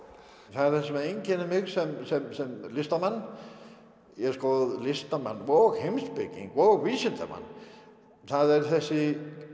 það sem einkennir mig sem sem listamann listamann og heimspeking og vísindamann það er þessi